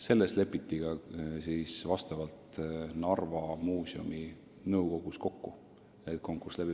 Selles lepiti ka Narva Muuseumi nõukogus kokku, et konkurss tuleb.